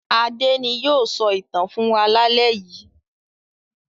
Adé ni yóò sọ ìtàn fún wa lálẹ́ yìí.